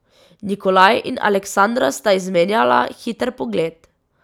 Nikolaj in Aleksandra sta izmenjala hiter pogled.